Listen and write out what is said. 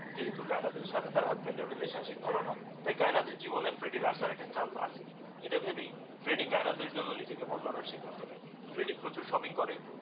যেহেতু কিন্তু কায়েনাথের সাথে তার হাসবেন্ড এর রিলেশনশিপ ভালোনা, তাই কায়েনাথের জীবনে ফ্রেডির আসার একটা চান্স আছে, এটা ভেবেই ফ্রেডি কায়েনাথের জন্যে নিজেকে বদলানোর সিদ্ধান্ত নেই। ফ্রেডি প্রচুর শপিং করে